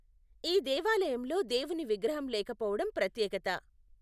ఈ దేవాలయంలో దేవుని విగ్రహం లేకపోవడం ప్రత్యేకత.